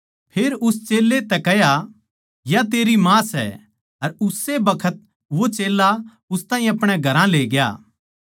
फेर उस चेल्लें तै कह्या या तेरी माँ सै अर उस्से बखत वो चेल्ला उस ताहीं अपणे घरां लेग्या